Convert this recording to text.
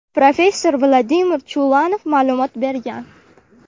professor Vladimir Chulanov ma’lumot bergan.